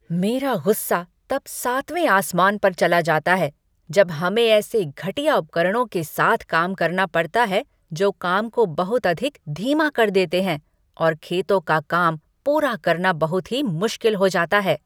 मेरा गुस्सा तब सातवें आसमान पर चला जाता है जब हमें ऐसे घटिया उपकरणों से काम करना पड़ता है जो काम को बहुत अधिक धीमा कर देते हैं और खेतों का काम पूरा करना बहुत ही मुश्किल हो जाता है।